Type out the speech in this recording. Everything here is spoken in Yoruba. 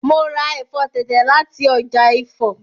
Mo ra ẹ̀fọ́ tẹ̀tẹ̀ láti ọjà Ifọ̀